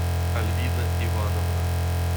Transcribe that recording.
альвина ивановна